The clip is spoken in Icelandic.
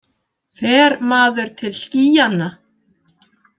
Fer maður til skýjanna?